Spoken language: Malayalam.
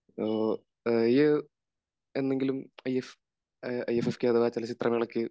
എന്നെങ്കിലും ഐ എഫ് എസ് കേരളം ചലച്ചിത്ര മേളക്ക്